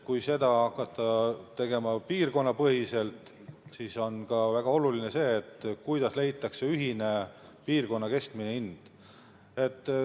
Kui seda hakata tegema piirkonnapõhiselt, siis on väga oluline see, kuidas leitakse ühine piirkonna keskmine hind.